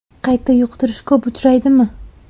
Qayta yuqtirish ko‘p uchraydimi?